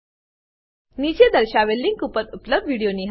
નીચે દર્શાવેલ લીંક પર ઉપલબ્ધ વિડીયો નિહાળો